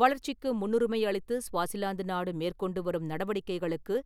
வளர்ச்சிக்கு முன்னுரிமை அளித்து ஸ்வாசிலாந்து நாடு மேற்கொண்டுவரும் நடவடிக்கைகளுக்கு